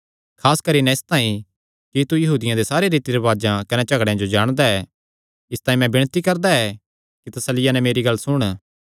खास करी नैं इसतांई कि तू यहूदियां दे सारे रीति रिवाजां कने झगड़ेयां जो जाणदा ऐ इसतांई मैं विणती करदा ऐ कि तसल्लिया नैं मेरी गल्ल सुण